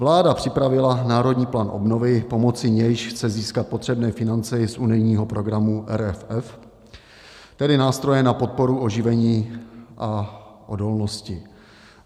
Vláda připravila Národní plán obnovy, pomocí nějž chce získat potřebné finance i z unijního programu RRF, tedy nástroje na podporu oživení a odolnosti.